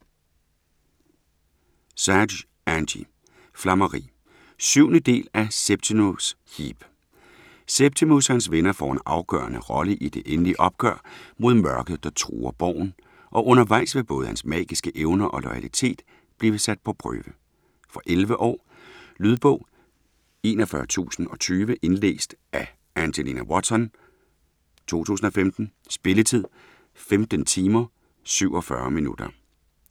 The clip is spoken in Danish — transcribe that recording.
Sage, Angie: Flammeri 7. del af Septimus Heap. Septimus og hans venner får en afgørende rolle i det endelige opgør mod Mørket der truer Borgen, og undervejs vil både hans magiske evner og loyalitet blive sat på prøve. Fra 11 år. Lydbog 41020 Indlæst af Angelina Watson, 2015. Spilletid: 15 timer, 47 minutter.